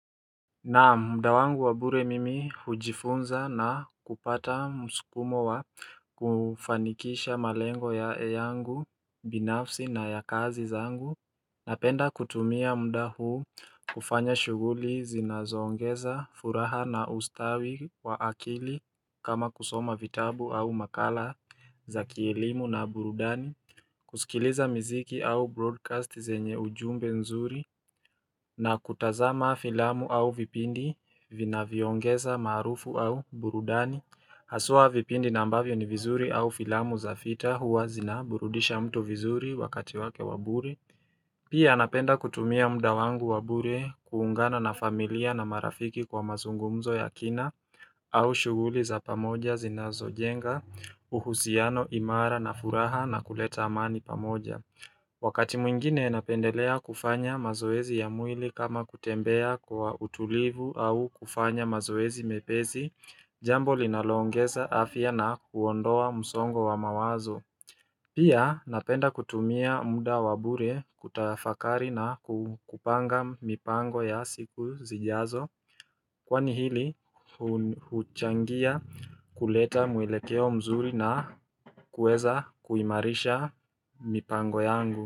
Na mda wangu wa bure mimi hujifunza na kupata msukumo wa kufanikisha malengo ya eyangu binafsi na ya kazi za angu Napenda kutumia mda huu kufanya shughuli zinazoongeza furaha na ustawi wa akili kama kusoma vitabu au makala za kielimu na burudani kusikiliza mziki au broadcast zenye ujumbe nzuri na kutazama filamu au vipindi vina vyoongeza maarufu au burudani Haswa vipindi nambavyo ni vizuri au filamu za fita huwa zinaburudisha mtu vizuri wakati wake waburi Pia napenda kutumia mda wangu waburi kuungana na familia na marafiki kwa mazungumzo ya kina au shughuli za pamoja zinazo jenga uhusiano imara na furaha na kuleta amani pamoja Wakati mwingine napendelea kufanya mazoezi ya mwili kama kutembea kwa utulivu au kufanya mazoezi mepesi, jambo linaloongeza afya na huondoa msongo wa mawazo. Pia napenda kutumia muda wabure kutafakari na kupanga mipango ya siku zijazo. Kwani hili hun huchangia kuleta mwelekeo mzuri na kueza kuimarisha mipango yangu.